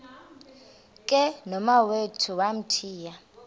ke nomawethu wamthiya